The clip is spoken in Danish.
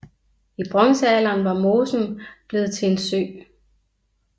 I bronzealderen var mosen blevet til en sø